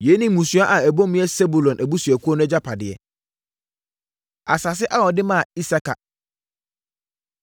Yei ne mmusua a ɛbɔ mu yɛ Sebulon abusuakuo no agyapadeɛ. Asase A Wɔde Maa Isakar